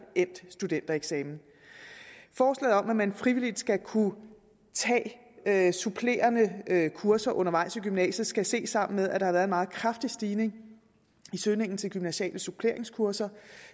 endt studentereksamen forslaget om at man frivilligt skal kunne tage supplerende kurser undervejs i gymnasiet skal ses sammen med at der været en meget kraftig stigning i søgningen til gymnasiale suppleringskurser